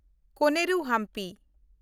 ᱠᱚᱱᱮᱨᱩ ᱦᱟᱢᱯᱤ